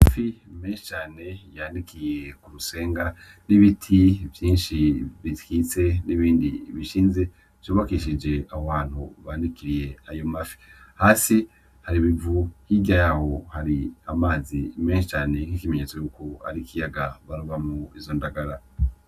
Amafi menshi cane yanikiye kurusenga, n'ibiti vyinshi bikitse n'ibindi bishinze vyubakishije ahohantu banikiriye ayomafi. Hasi hari ibivu hirya yaho hari amazi menshi cane nk'ikimenyetso yuko ari ikiyaga barobamwo izo ndagara.